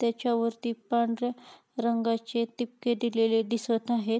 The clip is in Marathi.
त्याच्यावरती पांढऱ्या रंगाचे टिपके दिलेले दिसत आहेत.